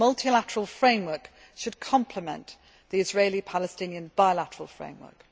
A multilateral framework should complement the Israeli Palestinian bilateral framework.